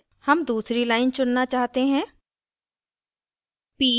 हम दूसरी line चुनना चाहते हैं